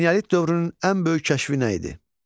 Eneolit dövrünün ən böyük kəşfi nə idi?